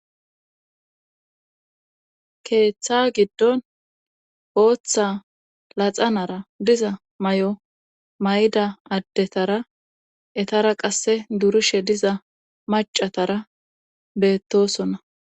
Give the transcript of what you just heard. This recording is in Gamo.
Keeththa giddon ooththa laxanara diza may'o mayda addetara etara qasse durishe diza macatara beettosona.